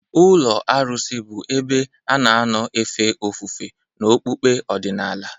Ụlọ arụsị bụ ebe a na-anọ efe ofufe n'okpukpe ọdịnala.